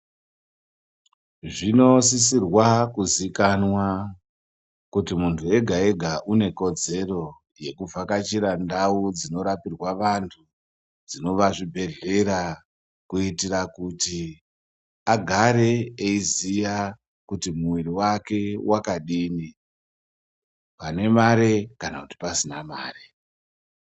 Zvinosisirwa kuzikanwa kuti muntu egaega une kodzero yekuvhakachira ndau dzinorapirwa vantu, dzinova zvibhedhlera kuitira kuti agare eiziya kuti mwiri wake wakadini pane mare kana kuti pasina mare.